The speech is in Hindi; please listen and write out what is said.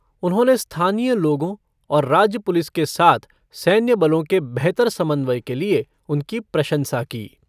उन्होंने स्थानीय लोगो और राज्य पुलिस के साथ सैन्य बलो के बेहतर समन्वय के लिए उनकी प्रशंसा की।